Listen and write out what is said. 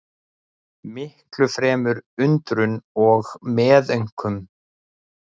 Miklu fremur undrun og meðaumkun.